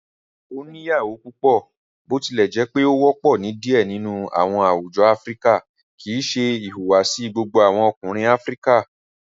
Oniyawo pupọ, botilẹjẹpe o wọpọ ni diẹ nínú awọn àwùjọ Áfíríkà, kìí ṣe ìhùwàsí gbogbo awọn Ọkùnrin Áfíríkà.